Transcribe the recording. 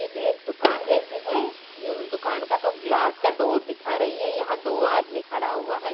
ये तो एक दुकान जैसी है ये दुकान का तो ग्लास का डोर दिखा रही है यहाँ दो आदमी खड़ा हुआ हैं।